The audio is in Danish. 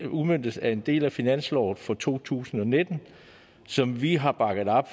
udmøntes af en del af finansloven for to tusind og nitten som vi har bakket op